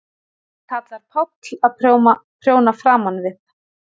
Það kallar Páll að prjóna framan við.